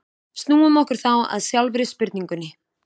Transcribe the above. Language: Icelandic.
Snúum okkur þá að sjálfri spurningunni.